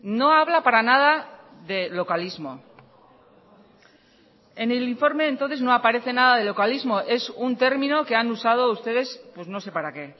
no habla para nada de localismo en el informe entonces no aparece nada de localismo es un término que han usado ustedes pues no sé para qué